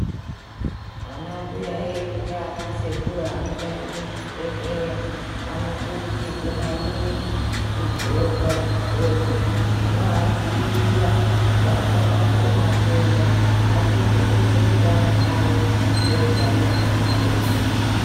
Anambuya edu naanasekuru anoshande muzvibhedhleya, anokurudzirwe maningi, kudxoka zvidxokozvinoadziirira kuti asabate matenda, achengetedze utano hwavo, ngeutano hwemutenda.